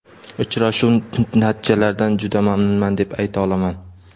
Uchrashuv natijalaridan juda mamnunman, deb ayta olaman.